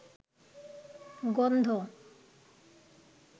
গন্ধ